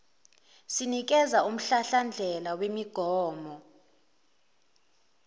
sinikeza umhlahlandlela wemigomo